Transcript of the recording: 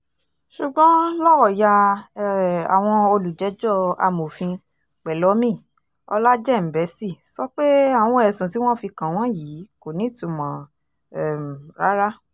ṣùgbọ́n lọ́ọ̀yà um àwọn olùjẹ́jọ́ amọ̀fin pẹ́lọ́mì ọlájẹ́ǹbẹ́sì sọ pé àwọn ẹ̀sùn tí wọ́n fi kàn wọ́n yìí kò nítumọ̀ um rárá